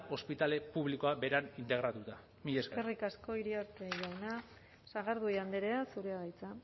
ospitale publikoa beran integratua mila esker eskerrik asko iriarte jauna sagardui andrea zurea da hitza